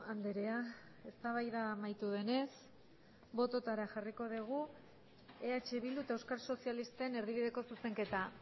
andrea eztabaida amaitu denez botoetara jarriko dugu eh bildu eta euskal sozialisten erdibideko zuzenketa